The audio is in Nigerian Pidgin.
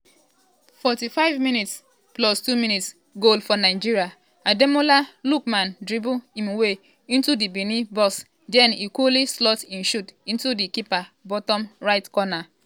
45+2mins -goal for nigeria!ademola lookman dribble im way into di benin box den e cooly slot e shot into di keeper bottom right corner.